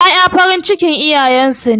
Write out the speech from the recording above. Ƴaƴa farin cikin iyayen su ne.